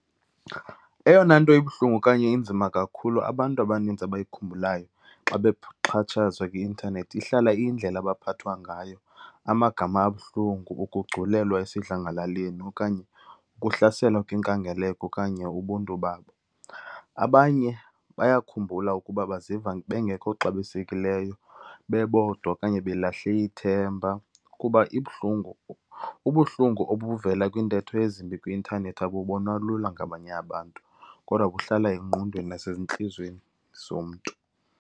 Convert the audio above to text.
Eyona nto ibuhlungu okanye inzima kakhulu abantu abaninzi abayikhumbulayo xa bexhatshazwa kwi-intanethi ihlala iyindlela abaphathwa ngayo, amagama abuhlungu, ukugculelwa esidlangalaleni okanye ukuhlaselwa kwinkangeleko okanye ubuntu babo. Abanye bayakhumbula ukuba baziva bengekho xabisekileyo, bebodwa okanye belahle ithemba kuba ibuhlungu. Ubuhlungu obuvela kwiintetho ezimbi kwi-intanethi abubowna lula ngabanye abantu kodwa kuhlala engqondweni nasezintliziyweni zomntu.